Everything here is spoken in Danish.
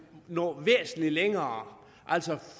nå væsentlig længere altså